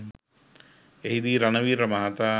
එහිදී රණවීර මහතා